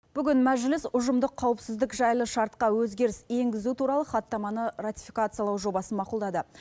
бүгін мәжіліс ұжымдық қауіпсіздік жайлы шартқа өзгеріс енгізу туралы хаттаманы ратификациялау жобасын мақұлдады